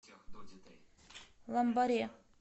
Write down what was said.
ламбаре